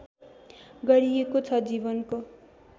गरिएको छ जीवनको